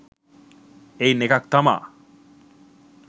එයින් එකක් තමා